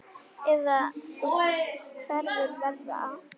Eða þú hefur verra af